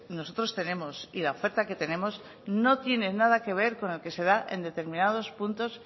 nosotros tenemos y la oferta que tenemos no tiene nada que ver con lo que se da en determinados puntos